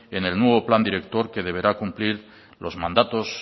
en el nuevo plan director que deberá cumplir los mandatos